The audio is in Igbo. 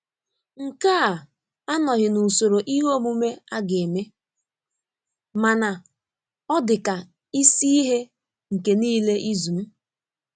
Nke a anọghị n'usoro ihe omume aga eme, mana ọ dị ka isi ihe nke niile izu m.